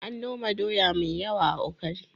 An noma doya mai yawa a Ukari.